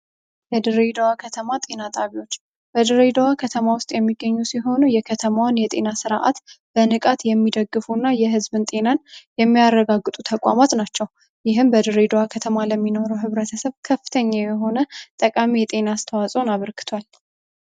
የድሬዳዋ ከተማ ጤና ጣቢያዎች በድሬዳዋ ከተማ ውስጥ የሚገኙ ሲሆኑ የድሬዳዋን ከተማ ነዋሪ ጤናን የሚጠብቁ እና የኗሪ ጤና የሚያረጋግጡ ተቋማት ናቸው ይህም በድሬደዋ ከተማ ላይ የሚኖረው ህብረተሰብ ከፍተኛ የሆነ ጠቃሚ የጤና አስተዋጽኦ አበርክቷል።